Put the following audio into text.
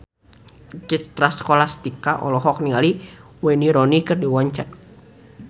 Citra Scholastika olohok ningali Wayne Rooney keur diwawancara